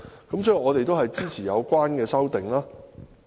所以，我們支持有關的修正案。